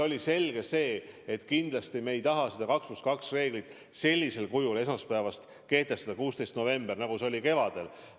On selge, et kindlasti me ei taha seda 2 + 2 reeglit karmil kujul esmaspäevast, 16. novembrist kehtestada, nii nagu see oli kevadel.